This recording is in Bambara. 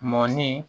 Mɔni